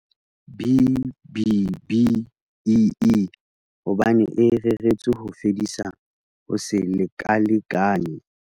B-BBEE hobane e reretswe ho fedisa ho se lekalekane.